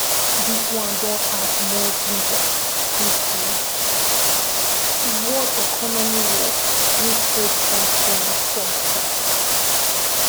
dis one don add more ginger to di world economic war wey president donald trump start.